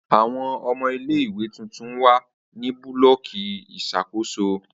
Awọn ọmọ ile-iwe tuntun wa ni bulọki iṣakoso